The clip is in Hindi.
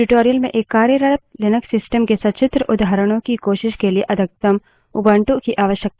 इस tutorial में एक कार्यरत लिनक्स system के सचित्र उदाहरणों की कोशिश के लिए अधिकतम उबंटु की आवश्यकता होगी